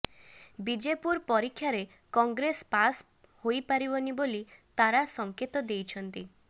ବିଜେପୁର ପରୀକ୍ଷାରେ କଂଗ୍ରେସ ପାସ୍ ହୋଇପାରିବନି ବୋଲି ତାରା ସଂକେତ ଦେଇଛନ୍ତି